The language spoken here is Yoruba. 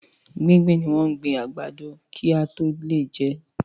Gbígbìn ni wọ́n gbin àgbàdo kí a tó lè jẹ́.